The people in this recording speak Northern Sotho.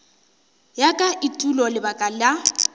ya ka etulo lebaka la